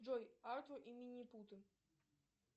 джой артур и минипуты